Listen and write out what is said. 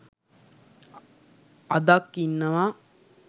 අදක් ඉන්නවා